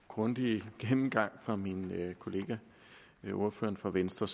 grundige gennemgang af min kollega ordføreren fra venstre